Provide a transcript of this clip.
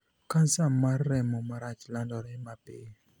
Kansa mar remo marach landore mapiyo.